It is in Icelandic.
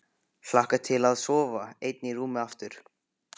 Hlakka til að sofa ein í rúmi aftur.